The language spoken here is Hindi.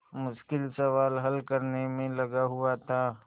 मुश्किल सवाल हल करने में लगा हुआ था